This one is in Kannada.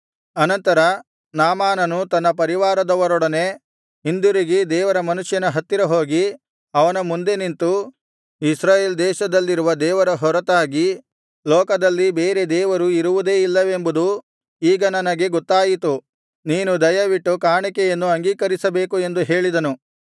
ಅನಂತರ ನಾಮಾನನು ತನ್ನ ಪರಿವಾರದವರೊಡನೆ ಹಿಂದಿರುಗಿ ದೇವರ ಮನುಷ್ಯನ ಹತ್ತಿರ ಹೋಗಿ ಅವನ ಮುಂದೆ ನಿಂತು ಇಸ್ರಾಯೇಲ್ ದೇಶದಲ್ಲಿರುವ ದೇವರ ಹೊರತಾಗಿ ಲೋಕದಲ್ಲಿ ಬೇರೆ ದೇವರು ಇರುವುದೇ ಇಲ್ಲವೆಂಬುದು ಈಗ ನನಗೆ ಗೊತ್ತಾಯಿತು ನೀನು ದಯವಿಟ್ಟು ಕಾಣಿಕೆಯನ್ನು ಅಂಗೀಕರಿಸಬೇಕು ಎಂದು ಹೇಳಿದನು